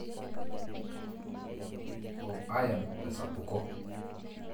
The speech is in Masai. o iron tesapuko.